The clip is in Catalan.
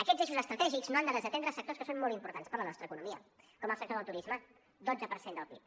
aquests eixos estratègics no han de desatendre sectors que són molt importants per a la nostra economia com el sector del turisme dotze per cent del pib